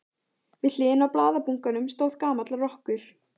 Við hliðina á blaðabunkanum stóð gamall rokkur.